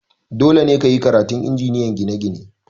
Dole ne ka yi karatun Injiniyan ginie-gine!